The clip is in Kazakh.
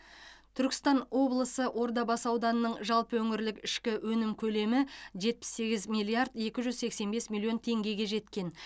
түркістан облысы ордабасы ауданының жалпы өңірлік ішкі өнім көлемі жетпіс сегіз миллиард екі жүз сексен бес миллион теңгеге жеткен